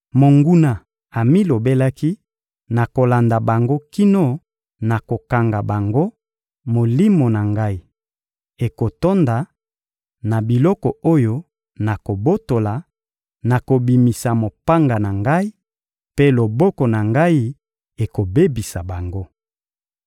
Monguna amilobelaki: «Nakolanda bango kino nakokanga bango, molimo na ngai ekotonda na biloko oyo nakobotola; nakobimisa mopanga na ngai, mpe loboko na ngai ekobebisa bango.»